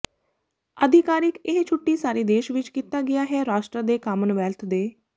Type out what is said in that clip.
ਆਧਿਕਾਰਿਕ ਇਹ ਛੁੱਟੀ ਸਾਰੇ ਦੇਸ਼ ਵਿਚ ਕੀਤਾ ਗਿਆ ਹੈ ਰਾਸ਼ਟਰ ਦੇ ਕਾਮਨਵੈਲਥ ਦੇ